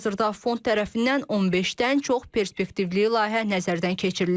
Hazırda fond tərəfindən 15-dən çox perspektivli layihə nəzərdən keçirilir.